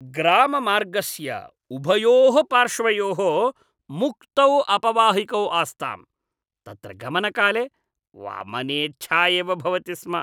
ग्राममार्गस्य उभयोः पार्श्वयोः मुक्तौ अपवाहिकौ आस्ताम्, तत्र गमनकाले वमनेच्छा एव भवति स्म।